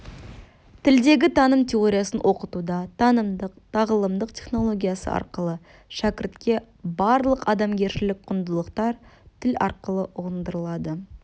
тілдегі таным теориясын оқытуда танымдық-тағылымдық технологиясы арқылы шәкіртке барлық адамгершілік құндылықтар тіл арқылы ұғындырылады